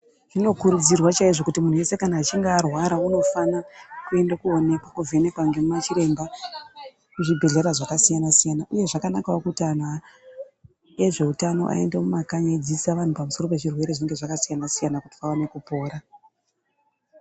Zvinokurudzirwa chaizvo kuti muntu wese kana achinje arwara unofana kuenda kwonekwa ovhenekwa ngemachiremba kuzvibhedhlera zvakasiyana-siyana iye zvakanakawo kuti antu ezveutano aende mumakanyi eidzidzisa vantu pamusoro pezvirwere zvinenge zvakasiyana-siyana kuti vaone kupona.